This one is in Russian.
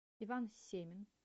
иван семин